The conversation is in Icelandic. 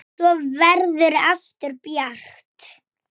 Loks var hringt inn.